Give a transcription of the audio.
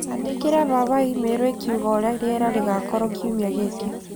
Andĩkĩra baba i-mīrū ĩkĩuga ũrĩa rĩera rĩkoretwo kiumia gĩkĩ